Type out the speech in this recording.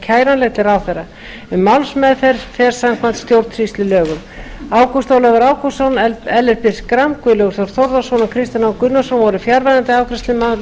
kæranleg til ráðherra um málsmeðferð fer samkvæmt stjórnsýslulögum ágúst ólafur ágústsson ellert b schram guðlaugur þór þórðarson og kristinn h gunnarsson voru fjarverandi við afgreiðslu málsins